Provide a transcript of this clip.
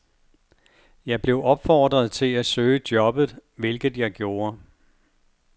Jeg blev opfordret til at søge jobbet, hvilket jeg gjorde.